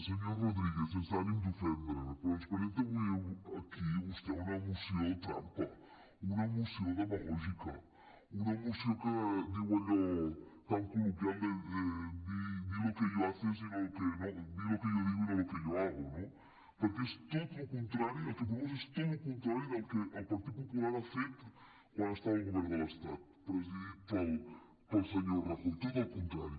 senyor rodríguez sense ànim d’ofendre però ens presenta avui aquí vostè una moció trampa una moció dema·gògica una moció que diu allò tan col·loquial de di lo que yo digo y no lo que yo hago no perquè el que proposa és tot el contrari del que el partit popular ha fet quan estava al govern de l’estat presidit pel senyor rajoy tot el contrari